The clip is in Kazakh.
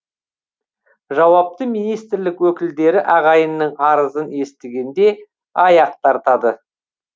жауапты министрлік өкілдері ағайынның арызын естігенде аяқ тартады